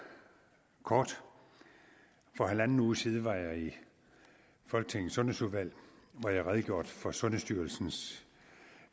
kort for halvanden uge siden var jeg i folketingets sundhedsudvalg hvor jeg redegjorde for sundhedsstyrelsens